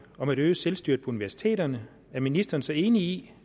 om at øge selvstyret på universiteterne er ministeren så enig i